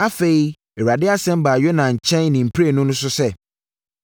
Afei, Awurade asɛm baa Yona nkyɛn ne mprenu so sɛ,